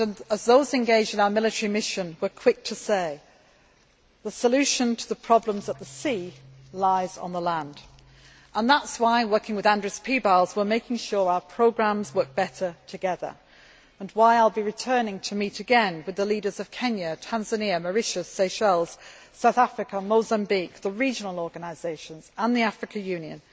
As those engaged in our military mission were quick to say, the solution to the problems at sea lies on the land. That is why, working with Andris Piebalgs, we are making sure our programmes work better together, and why I will be returning to meet again with the leaders of Kenya, Tanzania, Mauritius, Seychelles, South Africa, Mozambique, the regional organisations and the African Union,